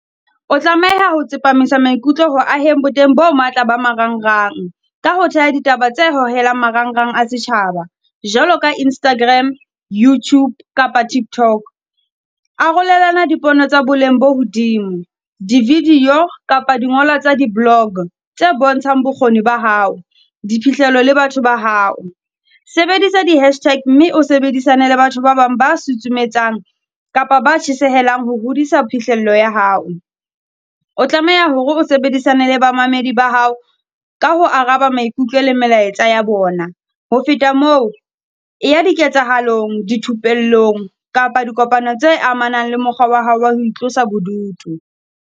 O tlameha ho tsepamisa maikutlo ho aheng bo teng bo matla ba marangrang, ka ho theha ditaba tse hohelang marangrang a setjhaba. Jwalo ka Instagram, YouTube kapa TikTok. Arolelana dipono tsa boleng bo hodimo, di-video kapa dingolwa tsa di-blog, tse bontshang bokgoni ba hao. Diphihlelo le batho ba hao, sebedisa di-hashtag mme o sebedisane le batho ba bang ba susumetsang kapa ba tjhesehelle ho hodisa phihlello ya hao. O tlameha hore o sebedisane le bamamedi ba hao ka ho araba maikutlo le melaetsa ya bona. Ho feta moo, e ya di ketsahalong di thupelong kapa dikopano tse amanang le mokgwa wa hao wa ho itlosa bodutu.